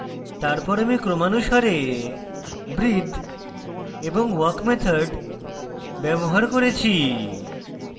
তারপর আমি ক্রমানুসারে breathe এবং walk methods ব্যবহার করেছি